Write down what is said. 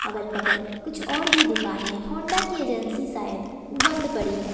अगल बगल कुछ और भी दुकाने होंडा की एजेंसी शायद बंद पड़ी है।